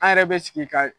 An yɛrɛ bɛ sigi ka